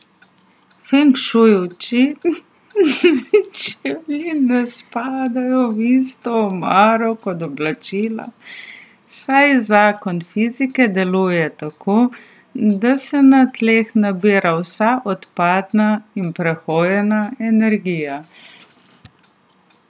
Feng šuj uči, da čevlji ne spadajo v isto omaro kot oblačila, saj zakon fizike deluje tako, da se na tleh nabira vsa odpadna in prehojena energija.